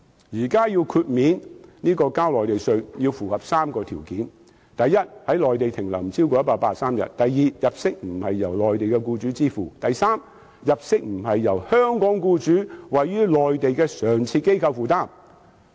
現時豁免繳交內地稅項要符合3個條件：第一 ，1 年內在內地停留不超過183天；第二，入息不是由內地僱主支付；第三，入息不是由香港僱主位於內地的常設機構負擔。